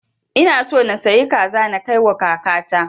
Ina so na sayi kaza na kai wa kaka ta